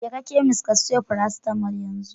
Jeka chemist ka siyo farasitamol yanzu!